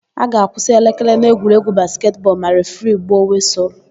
A ga-akwụsị elekere na egwuregwu basketị bọọlu ma refiri gbuo wịsụlụ.